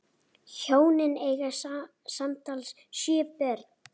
Hjónin eiga samtals sjö börn.